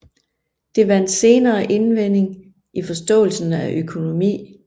Det vandt senere indvending i forståelsen af økonomi